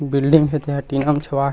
Building हे ते ह टीना म छवाय हे।